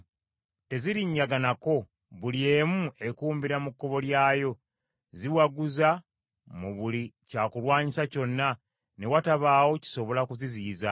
Tezirinnyaganako, buli emu ekumbira mu kkubo lyayo. Ziwaguza mu buli kyakulwanyisa kyonna, ne watabaawo kisobola kuziziyiza.